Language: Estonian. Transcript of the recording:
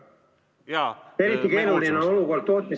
Jaa, palun kolm minutit lisaaega juurde!